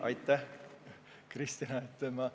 Aitäh, Kristina!